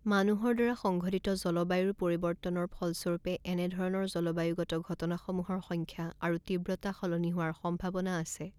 মানুহৰ দ্বাৰা সংঘটিত জলবায়ুৰ পৰিৱৰ্তনৰ ফলস্বৰূপে এনেধৰণৰ জলবায়ুগত ঘটনাসমূহৰ সংখ্যা আৰু তীব্ৰতা সলনি হোৱাৰ সম্ভাৱনা আছে।